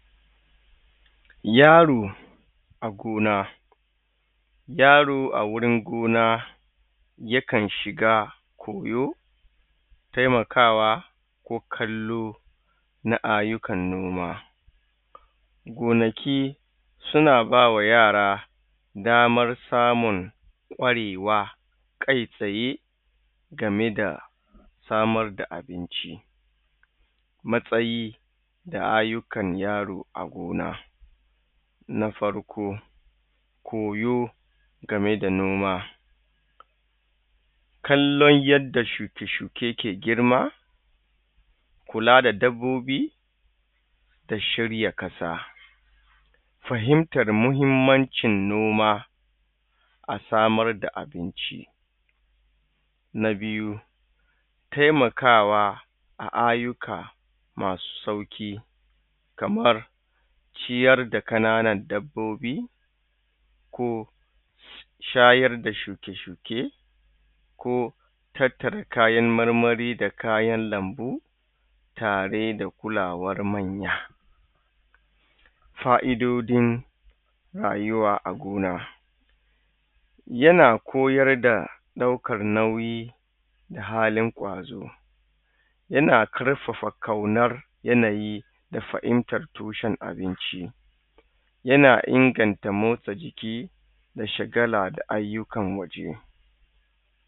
yaro a gona yaro agurin gona yakan shiga koyo temakawa kokallo na aiyukan noma gonaki suna bama yara damar samun kwarewa kai tsaye gameda samar da abinci matsayi da aiyukan yaro a gona na farko koyo game da noma kalon yadda shuke shuken yake girma kula da dabbobi ta shirya ƙasa fahimtar mahimmancin noma asamar da abinci na biyu temakawa a aiyuka masu sauƙi kamar ciyar da ƙananan dabbobi ko shayar da shuke shuke ko tattara kayan marmari da kayan lambu tare da kulawan manya fa idodin rayuwa a gona yana koyarda ɗaukan nauyi da halin kwazo yana ƙarfafa ƙaunan yanayi da fahimtar tushen abinci yana inganta motsa jiki da shagala da aiyukan waje